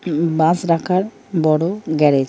বাস রাখার বড়ো গ্যারেজ ।